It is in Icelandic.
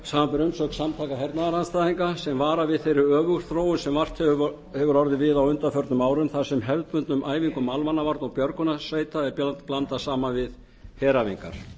samanber umsögn samtaka hernaðarandstæðinga þar sem varar við þeirri öfugþróun sem vart hefur orðið við á undanförnum árum þar sem hefðbundnum æfingum almannavarna og björgunarsveita er blandað saman við heræfingar